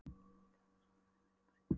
Ég hringdi en það svaraði aldrei. sagði Örn.